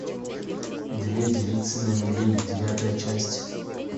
две девицы на мели девятая часть